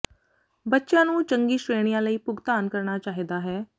ਬੱਚਿਆਂ ਨੂੰ ਚੰਗੀ ਸ਼੍ਰੇਣੀਆਂ ਲਈ ਭੁਗਤਾਨ ਕਰਨਾ ਚਾਹੀਦਾ ਹੈ